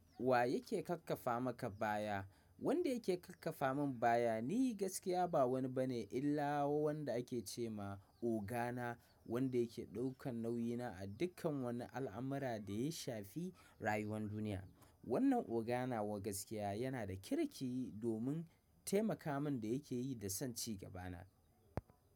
Wa yake kakkafa maka baya? Wanda yake kakkafa min baya ni gaskiya ba wani bane illa wanda ake ce ma ogana, wanda yake ɗaukan nauyina a dukkan wannan al'amurra da ya shafi rayuwan duniya. Wannan ogana wa gaskiya yana da kirki domin taimaka min da yake yi da son cigabana.